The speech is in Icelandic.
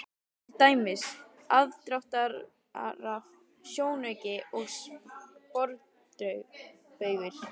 Til dæmis: aðdráttarafl, sjónauki og sporbaugur.